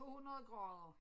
På 100 grader